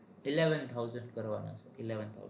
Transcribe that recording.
eleven thousand ભરવાના eleven thousand